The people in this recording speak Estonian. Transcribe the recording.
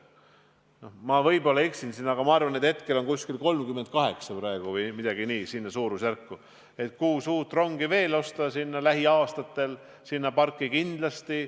Ma võib-olla eksin, aga arvan, et praegu on meil ronge 38 või umbes nii, ning plaanis on lähiaastatel osta sinna parki veel kuus uut rongi.